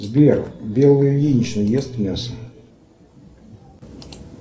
сбер белла ильинична ест мясо